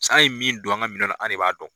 an ye min don an ka minɛn na an ne b'a dɔn.